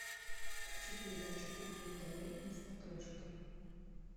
включи передачу кухня тв на смотрешке